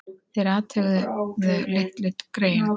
Þeir athuguðu litlu greyin.